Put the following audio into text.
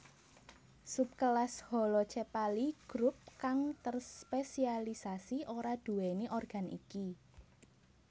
Subkelas Holocephali grup kang terspesialisasi ora duwéni organ iki